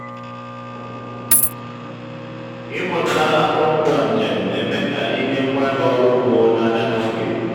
ịnweta akụrụngwa njem na-eme ka ịnye ngwaahịa ọrụ ugbo n'ahịa n'oge.